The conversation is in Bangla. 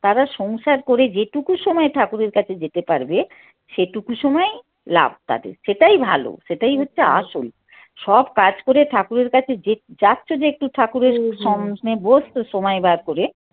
তারা সংসার করে যেটুকু সময় ঠাকুরের কাছে যেতে পারবে সেটুকু সময়ই লাভ তাদের সেটাই ভালো সেটাই হচ্ছে আসল। সব কাজ করে ঠাকুরের কাছে যে~ যাচ্ছ একটু ঠাকুরের বসছো সময় বার করে।